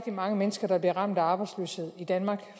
mange mennesker der bliver ramt af arbejdsløshed i danmark